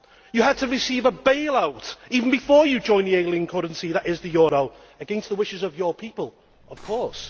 You had to receive a bail out even before you joined the ailing currency that is the euro against the wishes of your people, of course.